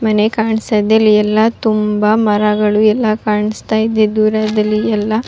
ಇಲ್ಲಿ ಒಂದು ರಸ್ತೆ ಇದೆ ಇಲ್ಲಿ ರಸ್ತೆಯಲ್ಲಿ ಒಂದು ಕಾರ್ ನಿಂತಿದೆ ಇಲ್ಲಿ ಮುಂದ್ಗಡೆ ಎಲ್ಲ--